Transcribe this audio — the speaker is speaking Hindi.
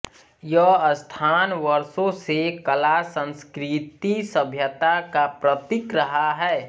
यह स्थान वर्षो से कला संस्कृति सभ्यता का प्रतीक रहा है